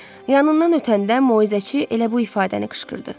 Yanından ötəndə moizəçi elə bu ifadəni qışqırdı.